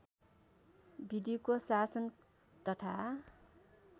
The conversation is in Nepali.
विधिको शासन तथा